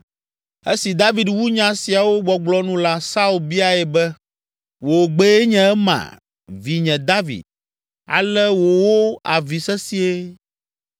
Esi David wu nya siawo gbɔgblɔ nu la, Saul biae be, “Wò gbee nye ema, vinye David?” Ale wòwo avi sesĩe.